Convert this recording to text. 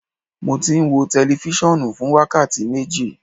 Mo ti n wo tẹlifisiọnu fun wakati meji